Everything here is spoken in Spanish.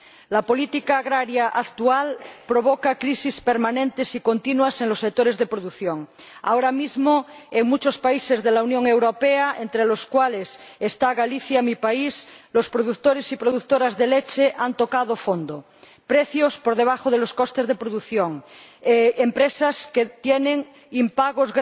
La política agraria actual provoca crisis permanentes y continuas en los sectores de producción. Ahora mismo, en muchos países de la Unión Europea entre los cuales está Galicia, mi país los productores y productoras de leche han tocado fondo precios por debajo de los costes de producción, empresas que tienen grandes impagos